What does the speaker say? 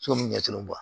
So mun ɲɛsinnen don